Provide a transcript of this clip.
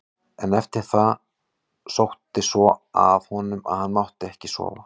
En eftir það sótti svo að honum að hann mátti ekki sofa.